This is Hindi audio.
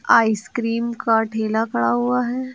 आइसक्रीम का ठेला खड़ा हुआ है।